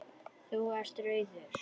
Þú ert rauður.